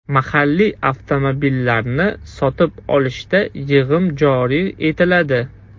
Mahalliy avtomobillarni sotib olishda yig‘im joriy etiladi.